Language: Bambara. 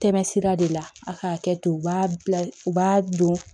Tɛmɛ sira de la a ka hakɛto u b'a bila u b'a don